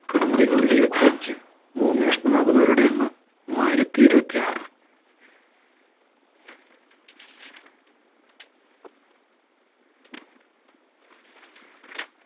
മുറികൾ ഏഴുവതഞ്ചു ഭൂമി നഷ്ടമാകുന്നവരുടെ എണ്ണം മൂവായിരത്തി ഏഴുവതിയാർ